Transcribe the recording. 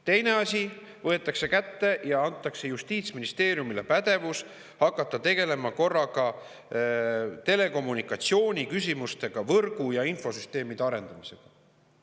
Teine asi, korraga võetakse kätte ja antakse Justiitsministeeriumile pädevus hakata tegelema telekommunikatsiooni küsimustega, võrgu ja infosüsteemide arendamisega.